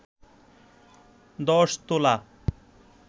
১০ তোলা